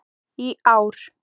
í ár.